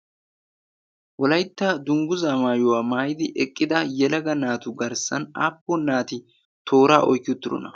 wolaytta dunggu zaamaayuwaa maayidi eqqida yelaga naatu garssan aappo naati tooraa oyki utturona